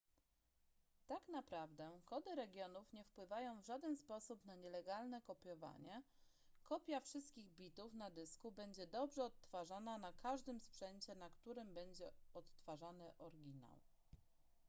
tak naprawdę kody regionów nie wpływają w żaden sposób na nielegalne kopiowanie kopia wszystkich bitów na dysku będzie dobrze odtwarzana na każdym sprzęcie na którym będzie odtwarzany oryginał